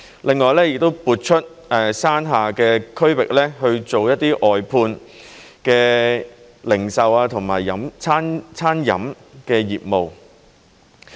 另外，亦會撥出山下的區域去做一些外判的零售和餐飲業務。